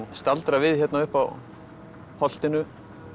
staldra við hérna uppi á holtinu